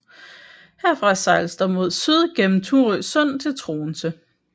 Herfra sejles der mod syd igennem Thurø Sund til Troense